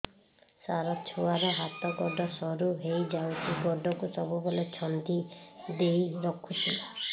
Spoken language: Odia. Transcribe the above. ସାର ଛୁଆର ହାତ ଗୋଡ ସରୁ ହେଇ ଯାଉଛି ଗୋଡ କୁ ସବୁବେଳେ ଛନ୍ଦିଦେଇ ରଖୁଛି